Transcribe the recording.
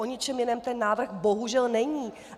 O ničem jiném ten návrh bohužel není.